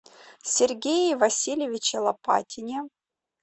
сергее васильевиче лопатине